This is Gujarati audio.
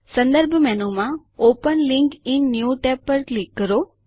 સંદર્ભ મેનુ માં open link in new tab પર ક્લિક કરો